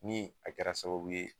Ni a kɛra sababu ye